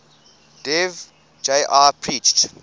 dev ji preached